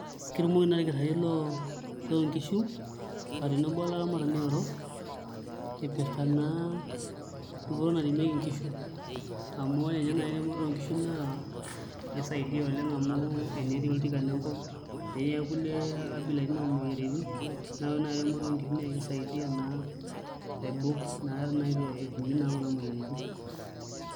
Ketumoki naai olkitarri loonkishu aa tenebo olaramatani airoro ipirta naa dupoto naremieki nkishu amu ore ninye naai eremoto oonkishu naa kisaidia oleng' amu tenetii oltikana enkop ashu kulie abilaitin oomuoyairitin naa ore eremoto oonkishu na kisaidia naa aibok naa pee metum nkishu kuna moyiaritin.